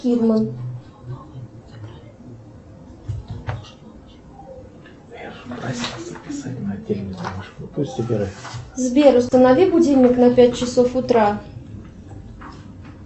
сбер установи будильник на пять часов утра